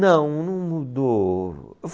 Não, não mudou.